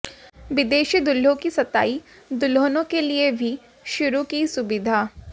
विदेशी दूल्हों की सताई दुल्हनों के लिए भी शुरू की सुविधा